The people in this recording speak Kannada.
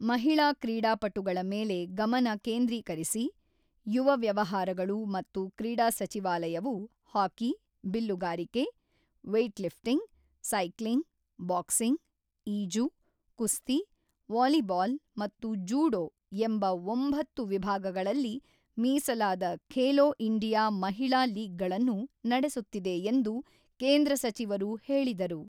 ಮಹಿಳಾ ಕ್ರೀಡಾಪಟುಗಳ ಮೇಲೆ ಗಮನ ಕೇಂದ್ರೀಕರಿಸಿ, ಯುವ ವ್ಯವಹಾರಗಳು ಮತ್ತು ಕ್ರೀಡಾ ಸಚಿವಾಲಯವು ಹಾಕಿ, ಬಿಲ್ಲುಗಾರಿಕೆ, ವೇಟ್ಲಿಫ್ಟಿಂಗ್, ಸೈಕ್ಲಿಂಗ್, ಬಾಕ್ಸಿಂಗ್, ಈಜು, ಕುಸ್ತಿ, ವಾಲಿಬಾಲ್ ಮತ್ತು ಜೂಡೋ ಎಂಬ ಒಂಬತ್ತು ವಿಭಾಗಗಳಲ್ಲಿ ಮೀಸಲಾದ ಖೇಲೊ ಇಂಡಿಯಾ ಮಹಿಳಾ ಲೀಗ್ಗಳನ್ನು ನಡೆಸುತ್ತಿದೆ ಎಂದು ಕೇಂದ್ರ ಸಚಿವರು ಹೇಳಿದರು.